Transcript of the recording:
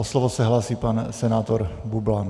O slovo se hlásí pan senátor Bublan.